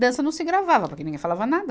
Dança não se gravava, porque ninguém falava nada.